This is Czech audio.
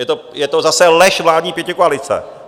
Je to zase lež vládní pětikoalice.